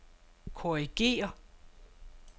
korrigér